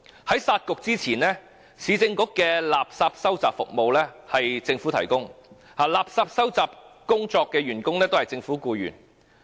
在"殺局"前，市政局的垃圾收集服務由政府提供，垃圾收集員工均為政府僱員。